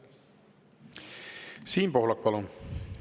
Siim Pohlak, palun!